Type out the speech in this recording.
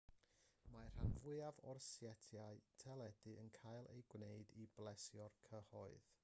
mae'r rhan fwyaf o setiau teledu yn cael eu gwneud i blesio'r cyhoedd